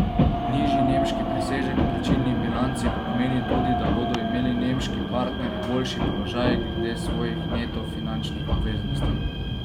Nižji nemški presežek v plačilni bilanci pa pomeni tudi, da bodo imeli nemški partnerji boljši položaj glede svojih neto finančnih obveznosti.